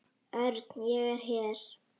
Örn, ég er hér